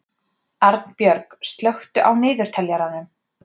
Arnbjörg, slökktu á niðurteljaranum.